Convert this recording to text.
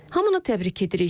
Hamını təbrik edirik.